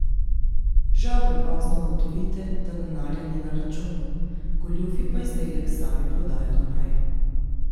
Žal prepozno ugotovite, da denarja ni na računu, goljufi pa izdelek sami prodajo naprej.